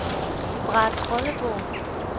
Brahetrolleborg